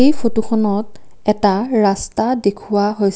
এই ফটোখনত এটা ৰাস্তা দেখুওৱা হৈছ--